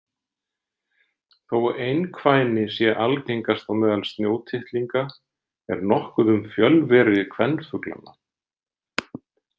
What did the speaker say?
Þó einkvæni sé algengast á meðal snjótittlinga er nokkuð um fjölveri kvenfuglanna.